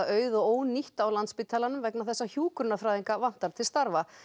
auð og ónýtt á Landspítalanum vegna þess að hjúkrunarfræðinga vantar til starfa